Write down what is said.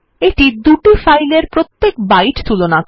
এইটা দুই ফাইল এর প্রত্যেক বাইট তুলনা করে